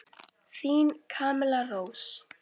Þín Camilla Rós.